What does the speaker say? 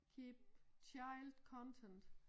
Keep child content